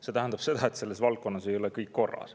See tähendab seda, et selles valdkonnas ei ole kõik korras.